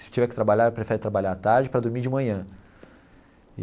Se tiver que trabalhar, ele prefere trabalhar à tarde para dormir de manhã.